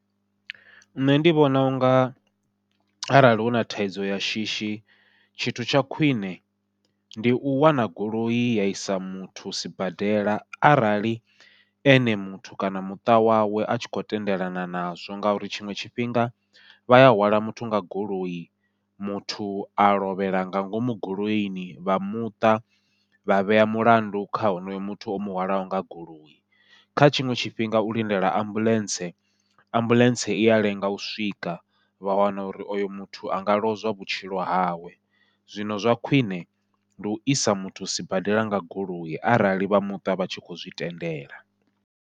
Nṋe ndi vhona unga arali huna thaidzo ya shishi, tshithu tsha khwiṋe ndi u wana goloi ya isa muthu sibadela arali ene muthu kana muṱa wawe a tshi khou tendelana nazwo, ngauri tshiṅwe tshifhinga vha ya hwala muthu nga goloi muthu a lovhela nga ngomu goloini vha muṱa vha vhea mulandu kha honoyo muthu o muhwalaho nga goloi. Kha tshiṅwe tshifhinga u lindela ambuḽentse, ambuḽentse iya lenga u swika vha wana uri oyo muthu anga lozwa vhutshilo hawe, zwino zwa khwiṋe ndi u isa muthu sibadela nga goloi arali vha muṱa vha tshi kho zwi tendela.